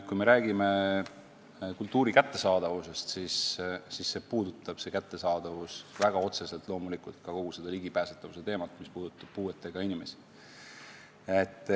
Kui me räägime kultuuri kättesaadavusest, siis see puudutab loomulikult väga otseselt ka kogu seda ligipääsetavuse probleemi, mis puudutab puuetega inimesi.